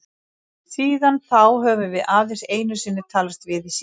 Síðan þá höfum við aðeins einu sinni talast við í síma.